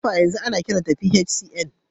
NEPA yanzu ana kiranta PHCN